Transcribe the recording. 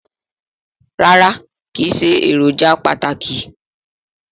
Rárá kìí ṣe èròjà pàtàkì